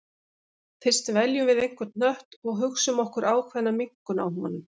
Fyrst veljum við einhvern hnött og hugsum okkur ákveðna minnkun á honum.